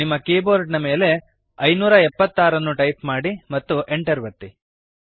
ನಿಮ್ಮ ಕೀಬೋರ್ಡ್ ಮೇಲೆ 576 ಅನ್ನು ಟೈಪ್ ಮಾಡಿರಿ ಮತ್ತು Enter ಅನ್ನು ಒತ್ತಿರಿ